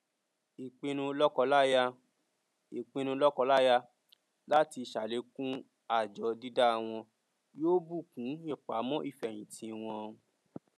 ìpinnu lọkọláya ìpinnu lọkọláya láti ṣàlékún àjọ dídá wọn yóò bùkún ìpamọ ìfẹhìntì wọn